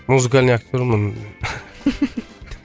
музыкальный актермын